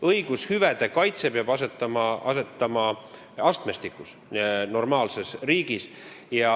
Õigushüvede kaitse peab normaalses riigis asetama astmestikku.